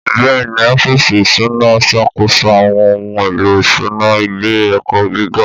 Bẹ́ẹ̀ni, ọ́fíìsì ìṣúná ń ṣàkóso àwọn ohun èlò ìṣúná ilé-ẹ̀kọ́ gíga.